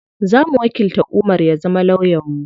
Zamu wakilta Umar ya zama lawyan mu.